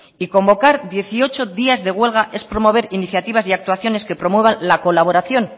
y convocar dieciocho días de huelga es promover iniciativas y actuaciones que promuevan la colaboración